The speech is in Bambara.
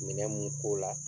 Minɛ mun k'o la